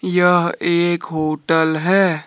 यह एक होटल है।